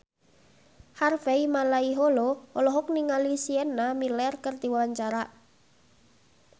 Harvey Malaiholo olohok ningali Sienna Miller keur diwawancara